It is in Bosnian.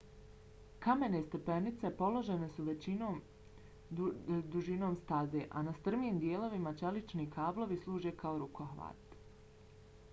kamene stepenice položene su većom dužinom staze a na strmijim dijelovima čelični kablovi služe kao rukohvat